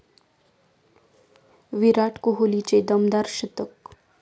विराट कोहलीचे दमदार शतक